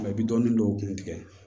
i bɛ dɔɔnin dɔw kun tigɛ